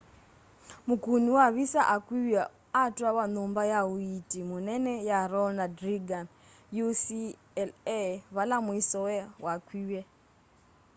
mûkûni wa visa akuiwe atwawa nyumba ya uiiti munene ya ronald reagan ucla vala mwisowe wakwie